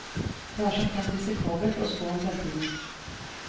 Det er som kjent risikabelt å spå om fremtiden.